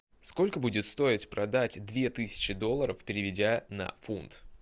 сколько будет стоить продать две тысячи долларов переведя на фунт